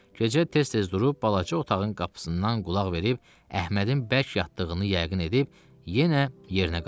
Gecə tez-tez durub balaca otağın qapısından qulaq verib Əhmədin bərk yatdığını yəqin edib yenə yerinə qayıtdı.